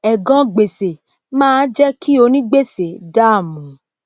ègan gbèsè máá jé kí onígbèsè dàmú